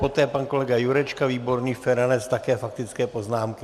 Poté pan kolega Jurečka, Výborný, Feranec - také faktické poznámky.